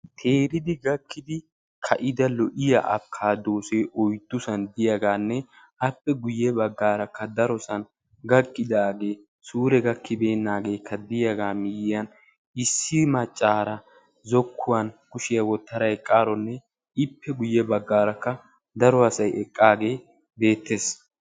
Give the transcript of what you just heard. keedida gakidi lo"iyaa abikaadose oyddusan diyaaganne appe guyye baggarakka darosan gakkidaage suure gakkibeenaagekka diyaaga miyiyyan issi maccara zokuwan kushiyaa wottada eqqaronne ippe guyye baggarakka daro asay eqqaage bettees